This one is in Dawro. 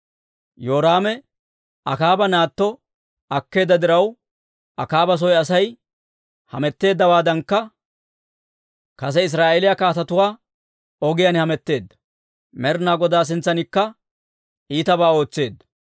Yoraame Akaaba naatto akkeedda diraw, Akaaba soy Asay hametteeddawaadankka kase Israa'eeliyaa kaatetuwaa ogiyaan hametteedda; Med'inaa Godaa sintsankka iitabaa ootseedda.